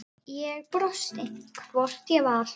Ég brosti, hvort ég var!